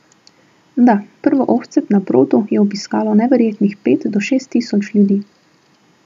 Da, prvo ohcet na brodu je obiskalo neverjetnih pet do šest tisoč ljudi.